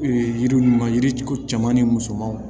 Ee yiri ninnu yirituru caman ni musomanw